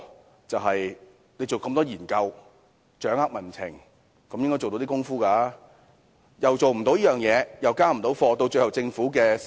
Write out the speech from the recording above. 它進行這麼多研究，掌握民情，本應做到一點工夫，但它卻做不到，最後連累政府的施政。